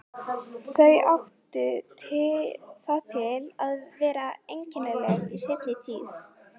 Þau áttu það til að vera einkennileg í seinni tíð.